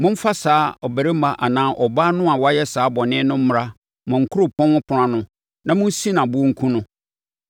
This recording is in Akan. momfa saa ɔbarima anaa ɔbaa no a wayɛ saa bɔne no mmra mo kuropɔn ɛpono ano na monsi no aboɔ nkum no.